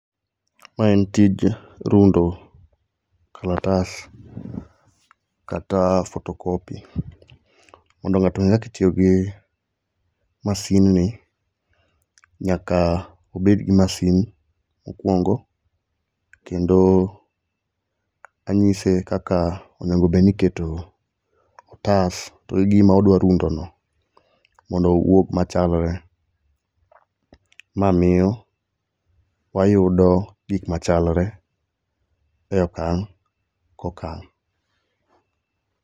Ma en tij rundo klatas kata photocopy. Mondo ng'ato ong'e kaka itiyo gi masindni, nyaka obed gi masin mokwongo kendo anyise kaka onego bed ni iketo otas to gima odwa rundono mondo owuog machalre. Ma miyo wayudo gik machalre e okang' kokang'.